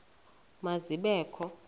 ma zibe kho